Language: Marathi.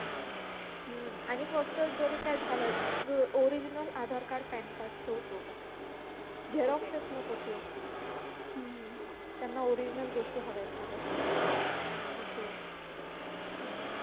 हम्म आणि फक्त जरी काय झालं original Aadhaar card PAN card ठेव सोबत हे झेरॉक्सेस नको ठेवू त्यांना original गोष्टी हव्यात सगळ्या